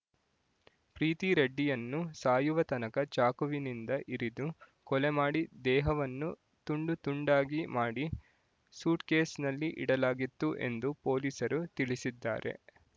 ಪ್ರೀತಿ ರೆಡ್ಡಿಯನ್ನು ಸಾಯುವತನಕ ಚಾಕುವಿನಿಂದ ಇರಿದು ಕೊಲೆಮಾಡಿ ದೇಹವನ್ನು ತುಂಡುತುಂಡಾಗಿ ಮಾಡಿ ಸೂಟ್‌ಕೇಸ್‌ನಲ್ಲಿ ಇಡಲಾಗಿತ್ತು ಎಂದು ಪೊಲೀಸರು ತಿಳಿಸಿದ್ದಾರೆ